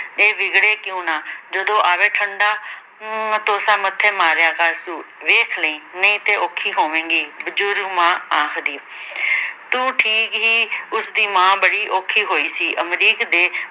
ਇਹ ਵਿਗੜੇ ਕਯੋਂ ਨਾ ਜਦੋਂ ਆਵੇ ਠੰਡਾ ਮਟੋਸਾ ਮਥ੍ਹੇ ਮਾਰਿਆ ਕਰ ਤੂੰ, ਵੇਖ ਲਈਂ ਨਈ ਤੇ ਔਖੀ ਹੋਵੇਂਗੀ ਬੁਜੁਰਗ ਮਾਂ ਆਖਦੀ ਤੂੰ ਠੀਕ ਹੀ ਉਸ ਦੀ ਮਾਂ ਬੜੀ ਔਖੀ ਹੋਈ ਸੀ ਅਮਰੀਕ ਦੇ